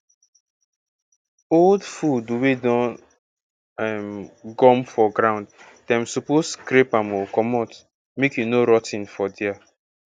old food wey don um gum for ground dem suppose scrape am oh commot make e no rot ten for there